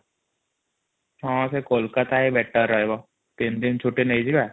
ହଁ ସେ କୋଲକାତା ବେଟାର ରହିବା ୩ ଦିନ ଛୁଟି ନେଇଯିବା |